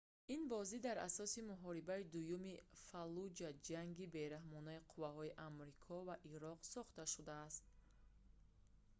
ин бозӣ дар асоси муҳорибаи дуюми фаллуҷа ҷанги бераҳмонаи қувваҳои амрико ва ироқ сохта шудааст